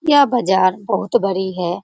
यह बाजार बहुत बड़ी है।